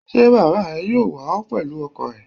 Ṣé Bàbà rẹ yóò wà ó pẹ̀lú ọkọ̀ ẹ̀?